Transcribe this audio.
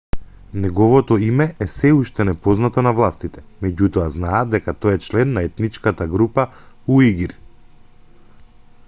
неговото име е сѐ уште непознато на властите меѓутоа знаат дека тој е член на етничката група уигур